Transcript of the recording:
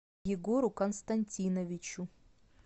егору константиновичу